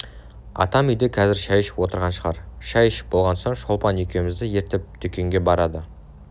атам үйде қазір шай ішіп отырған шығар шай ішіп болған соң шолпан екеуімізді ертіп дүкенге барады